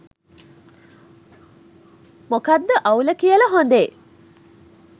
මොකද්ද අවුල කියලා හොඳේ?